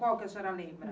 Qual que a senhora lembra?